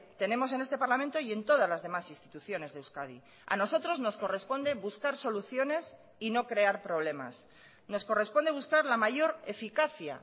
tenemos en este parlamento y en todas las demás instituciones de euskadi a nosotros nos corresponde buscar soluciones y no crear problemas nos corresponde buscar la mayor eficacia